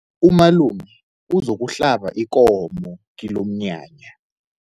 Umalume uzokuhlaba ikomo kilomnyanya.